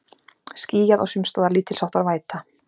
Skýjað og sums staðar lítilsháttar væta